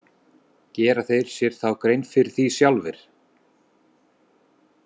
Gera þeir sér þá grein fyrir því sjálfir?